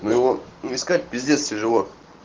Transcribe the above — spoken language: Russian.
ну его искать пиздец тяжело